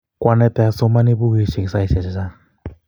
Kwanaite asomani pukuisyek saisyek chechang'